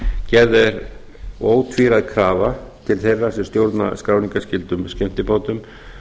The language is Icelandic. gerð er ótvíræð krafa til þeirra sem stjórna skráningarskyldum skemmtibátum